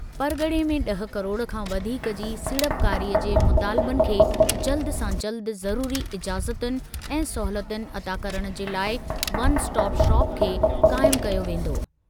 परग॒णे में ड॒ह किरोड़ खां वधीक जी सीड़पकारीअ जे मुतालिबनि खे जल्द सां जल्द ज़रूरी इजाज़तुनि ऐं सहूलियतुनि अता करण जे लाइ 'वन स्टॉप शॉप' खे क़ाइम कयो वेंदो।